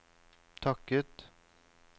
takket